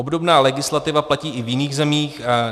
Obdobná legislativa platí i v jiných zemích.